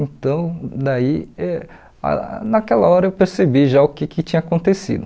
Então, daí eh ah naquela hora eu percebi já o que que tinha acontecido.